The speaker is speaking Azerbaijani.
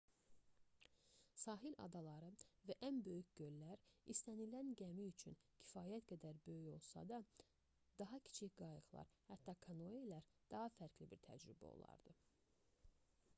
sahil adaları və ən böyük göllər istənilən gəmir üçün kifayət qədər böyük olsa da daha kiçik qayıqlar hətta kanoelər daha fərqli bir təcrübə olardı